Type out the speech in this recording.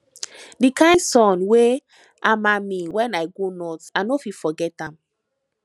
di kain sun wey hama me wen i go north i no fit forget am